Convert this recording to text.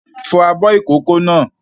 Fọ abọ́ ìkókó náà!